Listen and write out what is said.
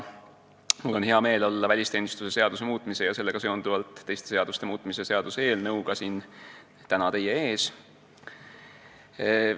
Mul on hea meel olla välisteenistuse seaduse muutmise ja sellega seonduvalt teiste seaduste muutmise seaduse eelnõuga täna siin teie ees.